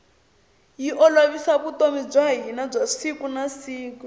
yi olovisa vutomi bya hina bya siku na siku